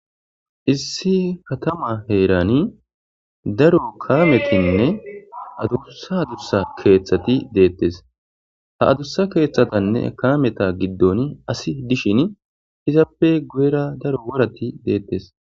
Issi katama heerani daro kaametinne adusa adursa keeththati deettes ha adursa keeththatanne kaameta giddon asi dishin izaappe guyera daro worati deettes.